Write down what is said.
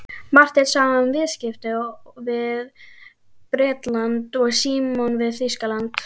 Marteinn sá um viðskipti við Bretland og Símon við Þýskaland.